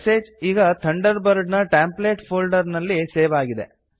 message ಈಗ Thunderbird ನ templates folder ನಲ್ಲಿ ಸೇವ್ ಅಗಿದೆ